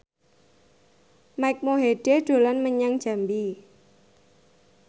Mike Mohede dolan menyang Jambi